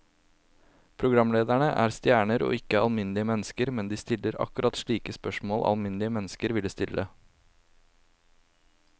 Programlederne er stjerner og ikke alminnelige mennesker, men de stiller akkurat slike spørsmål alminnelige mennesker ville stille.